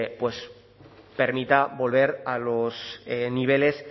permita volver a los niveles